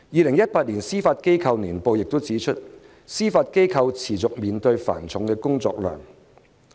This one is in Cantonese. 《香港司法機構年報2018》亦指出，司法機構持續面對繁重的工作量。